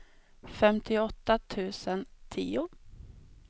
femtioåtta tusen tio